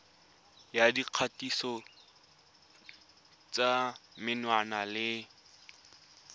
ya dikgatiso tsa menwana le